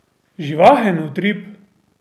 Živahen utrip!